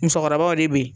Musokɔrɔbaw de be yen